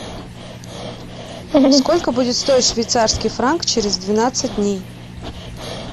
сколько будет стоить швейцарский франк через двенадцать дней